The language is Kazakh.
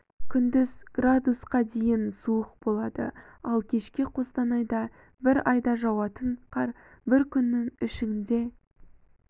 күндіз градусқа дейін суық болады ал кешке қостанайда бір айда жауатын қар бір күннің ішінде